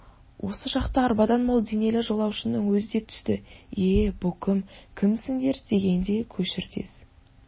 осы шақта арбадан мол денелі жолаушының өзі де түсті е-е бұ кім кімсіңдер дегенде көшір тез